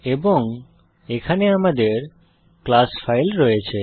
এবং এখানে আমাদের ক্লাস ফাইল রয়েছে